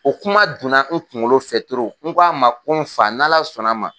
O kuma donna n kunkolo fɛ n k'a ma, ko n fa n'Ala sɔnna ma